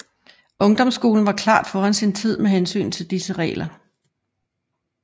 Ungdomsskolen var klart foran sin tid med hensyn til disse regler